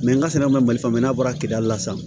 n ka sɛnɛ manli fanba n'a bɔra la sisan